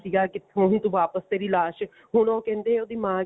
ਸੀਗਾ ਕਿੱਥੋਂ ਤੂੰ ਵਾਪਿਸ ਤੇਰੀ ਲਾਸ਼ ਹੁਣ ਉਹ ਕਹਿੰਦੇ ਉਹਦਾ ਮਾਂ